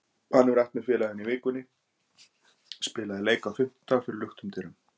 Hann hefur æft með félaginu í vikunni og spilaði leik á fimmtudag fyrir luktum dyrum.